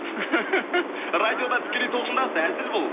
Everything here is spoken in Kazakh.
радиода тікелей толқындасыз әзіл бұл